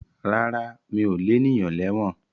Rárá mi ò lénìyàn lẹ́wọ̀n